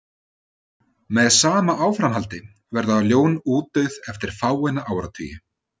Með sama áframhaldi verða ljón útdauð eftir fáeina áratugi.